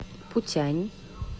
путянь